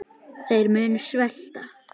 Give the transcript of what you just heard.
Þeir munu svelta.